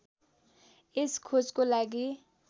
यस खोजको लागि